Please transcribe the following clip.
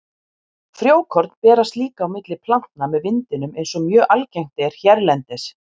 Frjókorn berast líka á milli plantna með vindinum eins og mjög algengt er hérlendis.